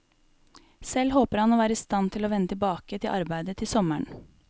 Selv håper han å være i stand til å vende tilbake til arbeidet til sommeren.